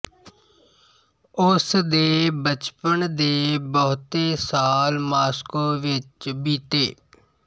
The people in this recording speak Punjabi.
ਉਸ ਦੇ ਬਚਪਨ ਦੇ ਬਹੁਤੇ ਸਾਲ ਮਾਸਕੋ ਵਿੱਚ ਬੀਤੇ